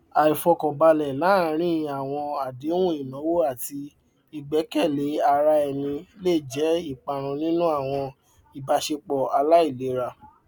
àìfọkànbalẹ láàárín àwọn àdéhùn ináwó àti ìgbẹkẹlé ara ẹni lè jẹ iparun nínú àwọn ìbáṣepọ aláìlera